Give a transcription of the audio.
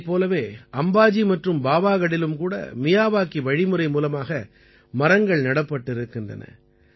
இதைப் போலவே அம்பாஜி மற்றும் பாவாகடிலும் கூட மியாவாகி வழிமுறை மூலமாக மரங்கள் நடப்பட்டிருக்கின்றன